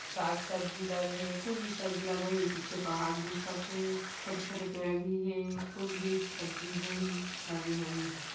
साग सब्जी लगे हे कुछ भी सब्जी लगे होही पीछे पहाड़ दिखत हे छोटे-छोटे पेड़ भी हे कुछ भी सब्जी होही लगे होही--